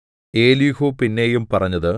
Elihu പിന്നെയും പറഞ്ഞത്